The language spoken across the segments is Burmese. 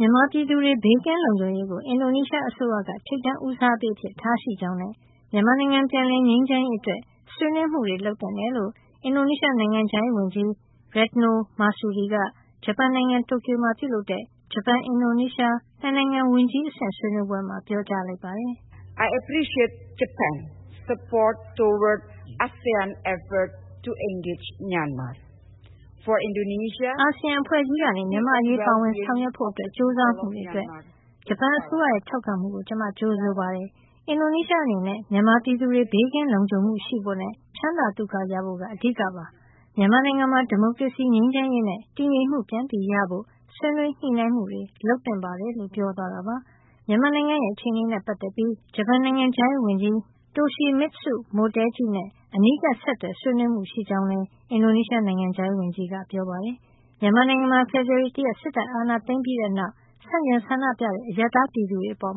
မြန်မာပြည်သူတွေ ဘေးကင်းလုံခြုံရေးကို အင်ဒိုနီးရှားအစိုးရက ထိပ်တန်းဦးစားပေး အဖြစ် ထားရှိကြောင်းနဲ့ မြန်မာနိုင်ငံပြန်လည်ငြိမ်းချမ်းရေး အတွက် ဆွေးနွေးမှုတွေ လုပ်သင့်တယ်လို့ အင်ဒိုနီးရှား နိုင်ငံခြားရေးဝန်ကြီး Retno Marsudi က ဂျပန်နိုင်ငံ တိုကျိုမှာ ပြုလုပ်တဲ့ ဂျပန် -အင်ဒိုနီးရှား ၂ နိုင်ငံ ဝန်ကြီး အဆင့် ဆွေးနွေးပွဲမှာ ပြောကြားလိုက်ပါတယ်။ “အာဆီယံအဖွဲ့ကြီးကနေ မြန်မာ့အရေး ပါဝင်ဆောင်ရွက်ဖို့ ကြိုစားမှုအတွက် ဂျပန်အစိုးရရဲ့ ထောက်ခံမှုကို ကျမ ကြိုဆိုပါတယ်။ အင်ဒိုနီးရှားအနေနဲ့ မြန်မာပြည်သူတွေ ဘေးကင်းလုံခြုံမှုရှိဖို့နဲ့ ချမ်းသာသုခရဖို့ဟာ အဓိကပါ။ မြန်မာနိုင်ငံမှာ ဒီမိုကရေစီ၊ ငြိမ်းချမ်းရေးနဲ့ တည်ငြိမ်မှု ပြန်ရဖို့ ဆွေးနွေးညှိနှိုင်းမှုတွေ လုပ်သင့်ပါတယ်” လို့ ပြောသွားတာပါ။ မြန်မာနိုင်ငံရဲ့ အခြေအနေနဲ့ ပတ်သက်ပြီး ဂျပန်နိုင်ငံခြားရေးဝန်ကြီး Toshimitsu Motegi နဲ့ အနီးကပ်ဆက်သွယ် ဆွေးနွေးမှုရှိကြောင်းလည်း အင်ဒိုနီးရှား နိုင်ငံခြားရေးဝန်ကြီးက ပြောပါတယ်။ မြန်မာနိုင်ငံမှာ ဖေဖေါ်ဝါရီလ ၁ ရက် စစ်တပ်အာဏာသိမ်းပြီးတဲ့နောက် ဆန့်ကျင်ဆန္ဒပြတဲ့ အရပ်သားပြည်သူတွေအပေါ်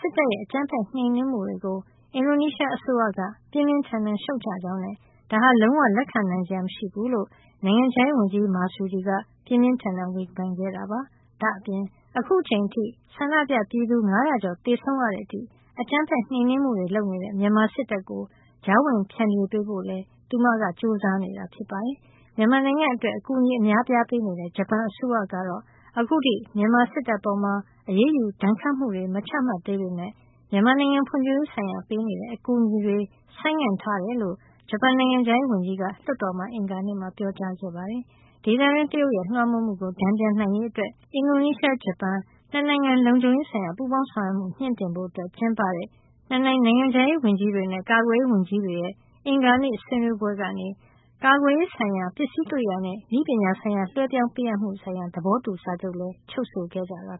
စစ်တပ်ရဲ့အကြမ်းဖက်နှိမ်နင်းမှုတွေကို အင်ဒိုနီးရှားအစိုးရက ပြင်းပြင်းထန်ထန်ရှုတ်ချကြောင်းနဲ့ ဒါဟာ လုံးဝလက်ခံနိုင်စရာမရှိဘူးလို့ နိုင်ငံခြားရေးဝန်ကြီး Marsudi က ပြင်းပြင်းထန်ထန် ဝေဖန်ခဲ့တာပါ။ ဒါ့အပြင် အခုအချိန်အထိ ဆန္ဒပြပြည်သူ ၅၀၀ ကျော်သေဆုံးရတဲ့အထိ အကြမ်းဖက်နှိမ်နင်းမှုတွေ လုပ်နေတဲ့ မြန်မာစစ်တပ်ကို ကြားဝင်ဖျန်ဖြေပေးဖို့လည်း သူမက ကြိုးစားနေတာဖြစ်ပါတယ်။ မြန်မာနိုင်ငံအတွက် အကူအညီအများအပြားပေးနေတဲ့ ဂျပန်အစိုးရက အခုထိ မြန်မာစစ်တပ်အပေါ် အရေးယူ ဒဏ်ခတ်မှုတွေ မချမှတ်သေးပေမယ့် မြန်မာနိုင်ငံဖွံ့ဖြိုးရေးဆိုင်ရာ ပေးနေတဲ့ အကူအညီတွေ ဆိုင်းငံ့ထားကြောင်း ဂျပန်နိုင်ငံခြားရေးဝန်ကြီးက လွှတ်တော်မှာ အင်္ဂါနေ့က ပြောပါတယ်။ ဒေသတွင်း တရုတ်ရဲ့လွှမ်းမိုးမှုကို တန်ပြန်နိုင်ရေးအတွက် ၂ နိုင်ငံ လုံခြုံရေး ဆိုင်ရာ ပူးပေါင်းဆောင်ရွက်မှု မြှင့်တင်ဖို့ ကျင်းပတဲ့ ဂျပန်နဲ့ အင်ဒိုနီးရှား ၂ နိုင်ငံ နိုင်ငံခြားရေးဝန်ကြီးတွေနဲ့ ကာကွယ်ရေး ဝန်ကြီးတွေရဲ့အင်္ဂါနေ့ ဆွေးနွေးပွဲကနေ ကာကွယ်ရေးဆိုင်ရာ ပစ္စည်းကရိယာနဲ့ နည်းပညာဆိုင်ရာ လွဲပြောင်းပေးအပ်မှုဆိုင်ရာ သဘောတူစာချုပ်လည်း ချုပ်ဆိုခဲ့ကြတာပါ